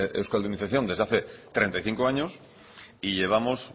euskaldunización desde hace treinta y cinco años y llevamos